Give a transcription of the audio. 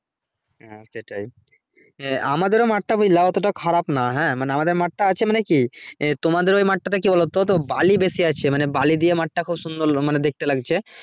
হ্যাঁ সেটাই আমাদের ও মাঠ টা ওত্তোটা খারাপ না হ্যাঁ মানে আমাদের মাঠটা আছে মানে কি তোমাদের ওই মাঠ টা তে বালি বেশি আছে মানে বালি দিয়ে মাঠ টা খুব সুন্দর মানে দেখতে লাগছে